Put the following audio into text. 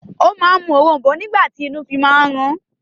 O máa ń mú òrom̀bó nígbà tí inú fi máa ń rún